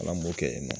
Ala m'o kɛ yen nɔ